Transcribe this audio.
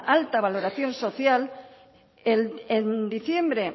alta valoración social en diciembre